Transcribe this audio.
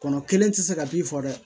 Kɔnɔ kelen tɛ se ka k'i fɔ dɛ